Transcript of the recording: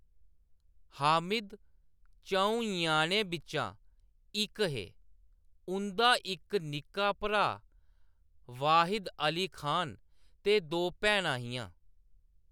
हामिद च'ऊं ञ्याणें बिच्चा इक हे, उं'दा इक निक्का भ्राऽ वाहिद अली खान ते दो भैनां हियां।